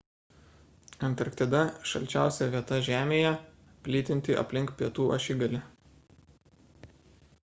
antarktida – šalčiausia vieta žemėje plytinti aplink pietų ašigalį